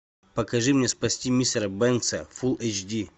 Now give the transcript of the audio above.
покажи мне спасти мистера бэнкса фулл эйч ди